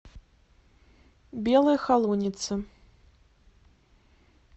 белой холунице